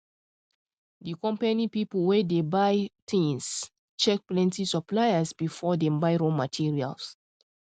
the company people wey dey buy things check plenty suppliers before dem buy raw materials